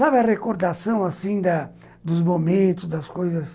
Sabe a recordação, assim, da dos momentos, das coisas...